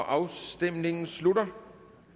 afstemningen slutter